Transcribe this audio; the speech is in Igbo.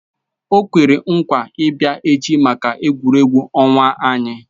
O kwere nkwa ị bịa echi maka egwuregwu ọnwa anyị